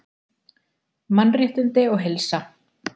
MANNRÉTTINDI OG HEILSA